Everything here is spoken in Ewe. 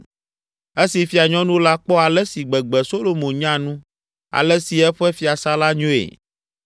Esi fianyɔnu la kpɔ ale si gbegbe Solomo nya nu, ale si eƒe fiasã la nyoe,